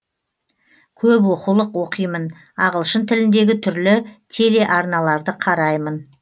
көп оқулық оқимын ағылшын тіліндегі түрлі телеарналарды қараймын